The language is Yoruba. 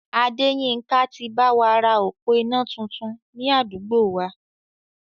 Adéyínká ti báwa ra òpó iná tuntun ni àdúgbò wa